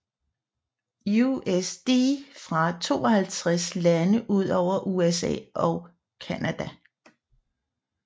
USD fra 52 lande udover USA og Canada